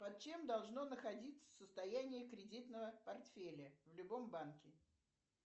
под чем должно находиться состояние кредитного портфеля в любом банке